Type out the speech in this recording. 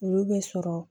Olu bɛ sɔrɔ